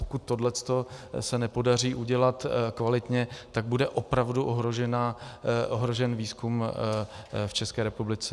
Pokud se tohle nepodaří udělat kvalitně, tak bude opravdu ohrožen výzkum v České republice.